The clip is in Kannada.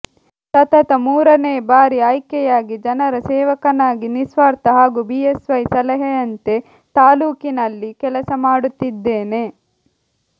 ಸತತ ಮೂರನೇ ಬಾರಿ ಆಯ್ಕೆಯಾಗಿ ಜನರ ಸೇವಕನಾಗಿ ನಿಸ್ವಾರ್ಥ ಹಾಗೂ ಬಿಎಸ್ವೈ ಸಲಹೆಯಂತೆ ತಾಲೂಕಿನಲ್ಲಿ ಕೆಲಸ ಮಾಡುತ್ತಿದ್ದೇನೆ